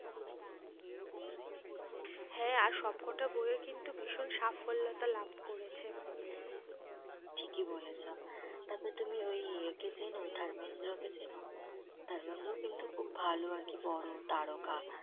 হ্যাঁ আর সব কটা বইয়ে কিন্তু ভীষণ সাফল্যতা লাভ করেছে ঠিকই বলেছ, তারপর তুমি ওই একে চেন ধর্মেন্দ্র কে চেন? ধর্মেন্দ্র কিন্তু খুব ভালো আরকি বড়ো তারকা।